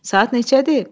Saat neçədir?